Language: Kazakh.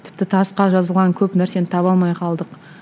тіпті тасқа жазылған көп нәрсені таба алмай қалдық